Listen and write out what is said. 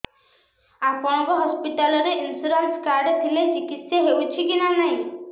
ଆପଣଙ୍କ ହସ୍ପିଟାଲ ରେ insurance card ଥିଲେ ଚିକିତ୍ସା ହେଉଛି କି ନାଇଁ